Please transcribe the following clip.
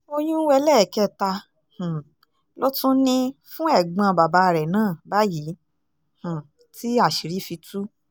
oyún ẹlẹ́ẹ̀kẹta um ló tún ní fún ẹ̀gbọ́n bàbá rẹ̀ náà báyìí um tí àṣírí fi tú